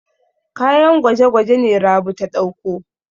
Kayan gwaje-gwaje ne Rabi ta ɗauko.